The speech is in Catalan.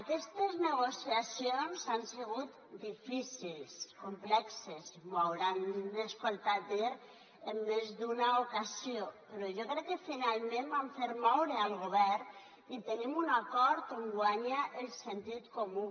aquestes negociacions han sigut difícils complexes m’ho deuen haver sentit dir en més d’una ocasió però jo crec que finalment vam fer moure el govern i tenim un acord on guanya el sentit comú